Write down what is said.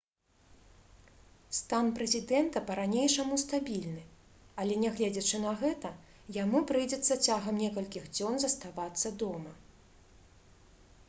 стан прэзідэнта па-ранейшаму стабільны але нягледзячы на гэта яму прыйдзецца цягам некалькіх дзён заставацца дома